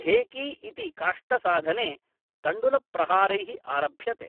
ढेकी इति काष्ठसाधने तण्डुलप्रहारैः आरभ्यते।